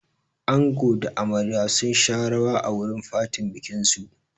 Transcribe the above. Ango da amarya sun sha rawa a wurin fatin bikin su.